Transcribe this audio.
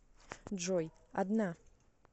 джой одна